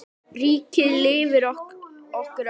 Ríkið lifir okkur öll.